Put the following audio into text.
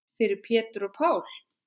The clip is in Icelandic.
Fyrir Pétur og Pál.